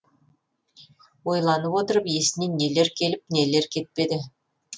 ойланып отырып есіне нелер келіп нелер кетпеді